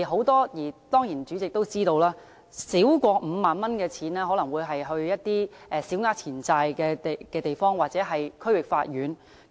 當然，代理主席也知道，少於5萬元的個案可能要交小額錢債審裁處或區域法院處理。